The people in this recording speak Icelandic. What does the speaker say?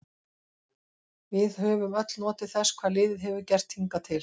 Við höfum öll notið þess hvað liðið hefur gert hingað til.